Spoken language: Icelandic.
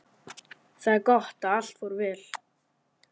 Það er gott að allt fór vel.